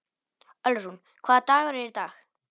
Ölrún, hvaða dagur er í dag?